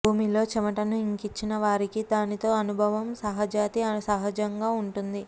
భూమిలో చెమటను ఇంకించిన వారికి దానితో అనుభవం సహజాతి సహజంగా ఉంటుంది